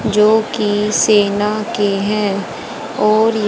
जोकि सेना के हैं और--